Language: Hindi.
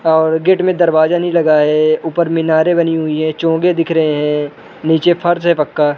और गेट में दरवाजा नहीं लगा है। ऊपर मीनारें बनी हुई हैं। चोंगे दिख रहे हैं। नीचे फर्श है पक्का।